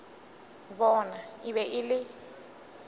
bona e be e le